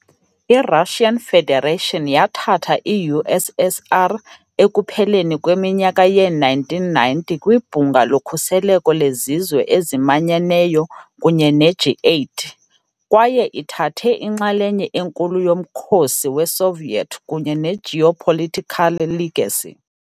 I- Russian Federation yathatha i-USSR ekupheleni kweminyaka yee-1990 kwiBhunga loKhuseleko leZizwe eziManyeneyo kunye ne- G8, kwaye ithathe inxalenye enkulu yomkhosi weSoviet kunye ne-geopolitical legacy.